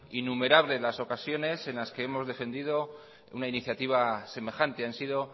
innumerables las ocasiones en las que hemos defendido una iniciativa semejante han sido